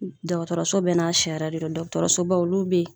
Dɔgɔtɔrɔso bɛɛ n'a sariya de don dɔgɔtɔrɔsoba olu be yen